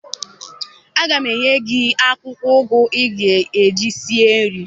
Aga m enye gị akwụkwọ ụgụ ị ga-eji sie nri